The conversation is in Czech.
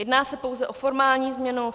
Jedná se pouze o formální změnu.